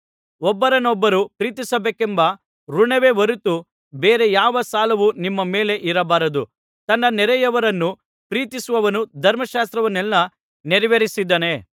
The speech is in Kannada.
ಒಬ್ಬರನ್ನೊಬ್ಬರು ಪ್ರೀತಿಸಬೇಕೆಂಬ ಋಣವೇ ಹೊರತು ಬೇರೆ ಯಾವ ಸಾಲವೂ ನಿಮ್ಮ ಮೇಲೆ ಇರಬಾರದು ತನ್ನ ನೆರೆಹೊರೆಯವರನ್ನು ಪ್ರೀತಿಸುವವನು ಧರ್ಮಶಾಸ್ತ್ರವನ್ನೆಲ್ಲಾ ನೆರವೇರಿಸಿದ್ದಾನೆ